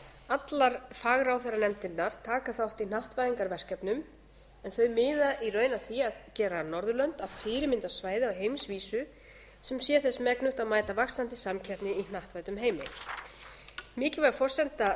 allar fagráðherranefndirnar taka þátt í hnattvæðingarverkefnum en þau miða í raun að því að gera norðurlönd að fyrirmyndarsvæði á heimsvísu sem sé þess megnugt að mæta vaxandi samkeppni í hnattvæddum heimi mikilvæg forsenda